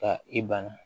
Ka i bana